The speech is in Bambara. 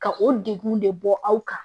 Ka o degun de bɔ aw kan